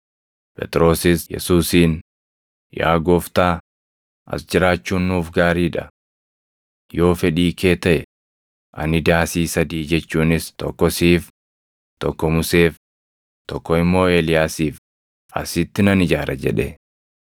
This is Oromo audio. Phexrosis Yesuusiin, “Yaa Gooftaa, as jiraachuun nuuf gaarii dha. Yoo fedhii kee taʼe, ani daasii sadii jechuunis tokko siif, tokko Museef, tokko immoo Eeliyaasiif asitti nan ijaara” jedhe.